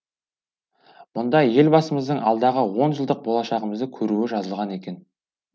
мұнда елбасымыздың алдағы онжылдық болашағымызды көруі жазылған екен